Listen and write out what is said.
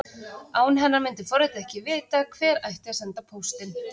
Án hennar myndi forritið ekki vita hvert ætti að senda póstinn.